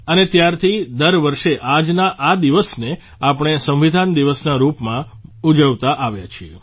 અને ત્યારથી દર વર્ષે આજના આ દિવસને આપણે સંવિધાન દિવસના રૂપમાં મનાવતા આવ્યા છીએ